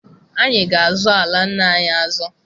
Anyị ga-azọ ala nna anyị azo